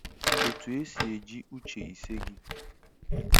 Otu esi eji uche ise gị